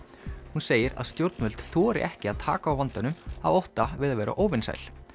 hún segir að stjórnvöld þori ekki að taka á vandanum af ótta við að vera óvinsæl